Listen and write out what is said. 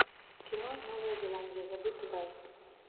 кино новая зеландия забытый рай